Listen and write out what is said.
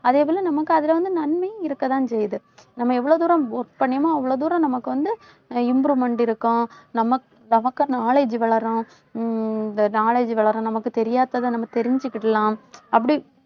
அதே போல நமக்கு அதுல வந்து, நன்மையும் இருக்கத்தான் செய்யுது நம்ம எவ்வளவு தூரம் work பண்ணணுமோ அவ்வளவு தூரம் நமக்கு வந்து, improvement இருக்கும். நமக்~ நமக்கு knowledge வளரும். ஹம் இந்த knowledge வளரும் நமக்குத் தெரியாததை நம்ம தெரிஞ்சுக்கிடலாம். அப்படி